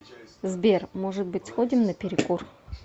сбер может быть сходим на перекур